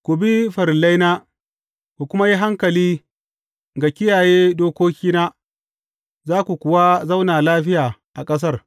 Ku bi farillaina, ku kuma yi hankali ga kiyaye dokokina, za ku kuwa zauna lafiya a ƙasar.